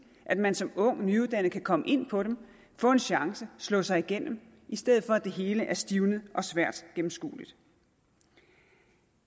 at man som ung nyuddannet kan komme ind på dem få en chance slå sig igennem i stedet for at det hele er stivnet og svært gennemskueligt